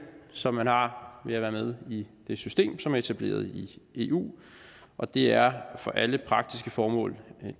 som man har ved at være med i det system som er etableret i eu og det er for alle praktiske formål